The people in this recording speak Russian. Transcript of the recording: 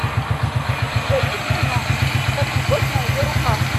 у тебя есть кино написать любовь на ее руках